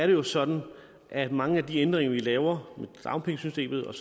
jo sådan at mange af de ændringer vi laver i dagpengesystemet og